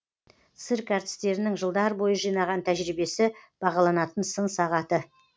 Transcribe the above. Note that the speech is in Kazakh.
цирк әртістерінің жылдар бойы жинаған тәжірибесі бағаланатын сын сағаты